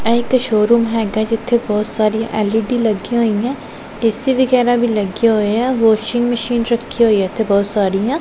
ਇਹ ਇੱਕ ਸ਼ੋਰੂਮ ਹੈਗਾ ਐ ਜਿੱਥੇ ਬਹੁਤ ਸਾਰੀਆਂ ਐਲ_ਈ_ਡੀ ਲੱਗੀਆਂ ਹੋਈਐਂ ਏ_ਸੀ ਵਗੈਰਾ ਵੀ ਲੱਗਿਆ ਹੋਇਆ ਐ ਵੋਸ਼ਿੰਗ ਮਸ਼ੀਨ ਰੱਖੀ ਹੋਈ ਐ ਇੱਥੇ ਬਹੁਤ ਸਾਰੀਆਂ।